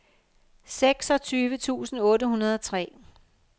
seksogtyve tusind otte hundrede og tre